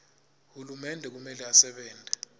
hulumende kumele asebente